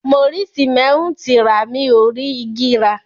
Mo rí sìmẹ́ńtì rà, mi ò rí igi rà.